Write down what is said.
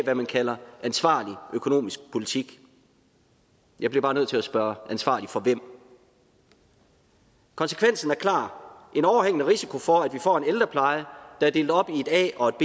det man kalder ansvarlig økonomisk politik jeg bliver bare nødt til at spørge ansvarlig for hvem konsekvensen er klar en overhængende risiko for at vi får en ældrepleje der er delt op i et a og